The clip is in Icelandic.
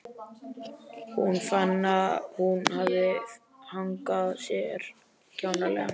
Hún fann að hún hafði hagað sér kjánalega.